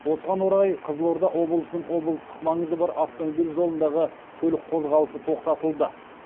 осыған орай қызылорда облысының облыстық маңызы бар автомобиль жолындағы көлік қозғалысы тоқтатылды